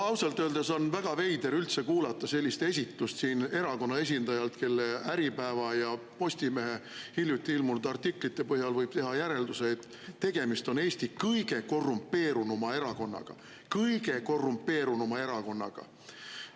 No ausalt öeldes on väga veider üldse kuulata sellist esitust siin erakonna esindajalt, kelle hiljuti Äripäevas ja Postimehes ilmunud artiklite põhjal võib teha järelduse, et tegemist on Eesti kõige korrumpeerunuma erakonnaga – kõige korrumpeerunuma erakonnaga!